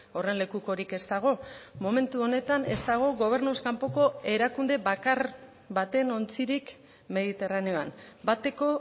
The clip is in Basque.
horren lekukorik ez dago momentu honetan ez dago gobernuz kanpoko erakunde bakar baten ontzirik mediterraneoan bateko